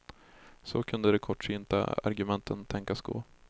Så kunde de kortsynta argumenten tänkas gå.